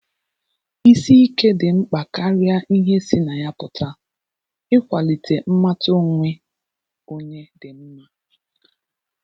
Isi ike dị mkpa karịa ihe sị na ya pụta, ịkwalite mmata onwe onye dị mma